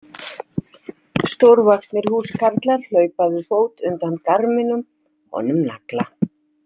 Stórvaxnir húskarlar hlaupa við fót undan garminum honum Nagla.